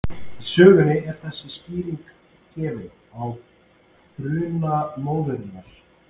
Í sögunni er þessi skýring gefin á bruna móðurinnar: